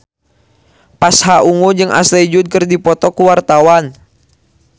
Pasha Ungu jeung Ashley Judd keur dipoto ku wartawan